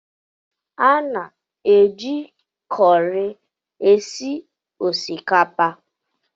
A na-eji kọri esi osikapa